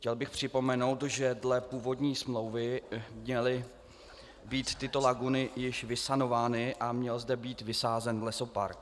Chtěl bych připomenout, že dle původní smlouvy měly být tyto laguny již vysanovány a měl zde být vysázen lesopark.